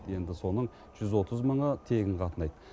енді соның жүз отыз мыңы тегін қатынайды